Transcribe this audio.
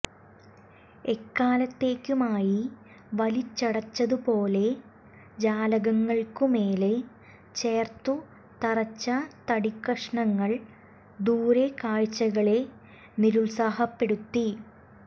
എക്കാലത്തേക്കുമായി വലിച്ചടച്ചതുപോലെ ജാലകങ്ങൾക്കു മേലേ ചേർത്തു തറച്ച തടിക്കഷണങ്ങൾ ദൂരക്കാഴ്ചകളെ നിരുൽസാഹപ്പെടുത്തി